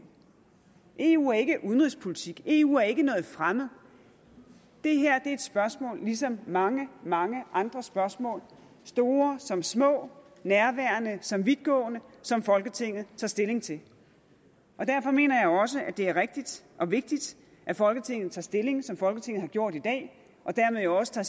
eu er ikke udenrigspolitik eu er ikke noget fremmed det her er et spørgsmål ligesom mange mange andre spørgsmål store som små nærværende som vidtgående som folketinget tager stilling til derfor mener jeg også at det er rigtigt og vigtigt at folketinget tager stilling som folketinget har gjort i dag og dermed også tager